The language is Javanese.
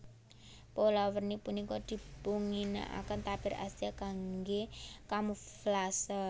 Pola werni punika dipunginakaken tapir Asia kanggé kamuflase